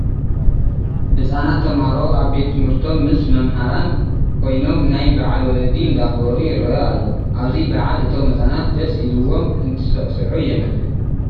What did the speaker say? ህፃናት ተምሃሮ ኣብ ቤት ትምህርቶም ምስ መምህራን ኮይኖም ናይ ባዓል ወለዲ እንዳኽበሩ ይረአ ኣሎ፡፡ ኣብዚ በዓል እቶም ህፃናት ደስ ኢሉዎም እንትስዕስዑ የመልክት፡፡